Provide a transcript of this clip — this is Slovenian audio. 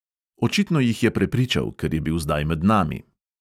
Očitno jih je prepričal, ker je bil zdaj med nami.